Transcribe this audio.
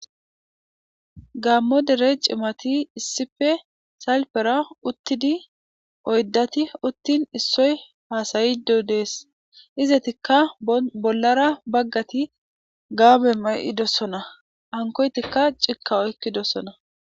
gaammo dere cimati issppe salpera uttidi oyddati uttin issoy haasayido dees izetikka bollara baggati gaabe may7idossona hankoytikka cikka oykkidosona.